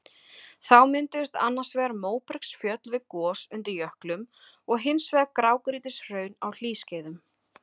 Þá mynduðust annars vegar móbergsfjöll við gos undir jöklum og hins vegar grágrýtishraun á hlýskeiðum.